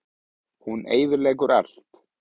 Hún eyðileggur allt.